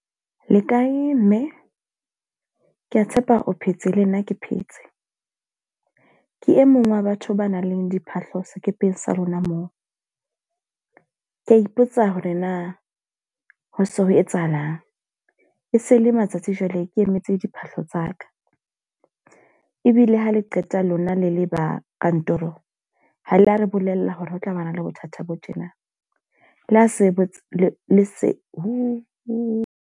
Le kae mme? Ke a tshepa o phetse, le nna ke phetse. Ke e mong wa batho ba nang le diphahlo sekepeng sa lona moo. Ke a ipotsa hore na ho se ho etsahalang, e se le matsatsi jwale ke emetse diphahlo tsa ka. Ebile ha le qeta lona le le ba kantoro ha la re bolella hore ho tlabana le bothata bo tjena. Le ha se bo le le se .